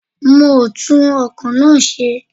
Mi o tún ọkọ̀ náà ṣe.